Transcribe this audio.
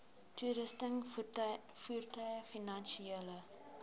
toerusting voertuie finansiële